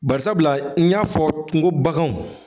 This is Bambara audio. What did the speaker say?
Bari sabula n y'a fɔ t ŋo baganw